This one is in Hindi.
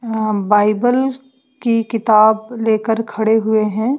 अं बाइबल की किताब लेकर खड़े हुए हैं।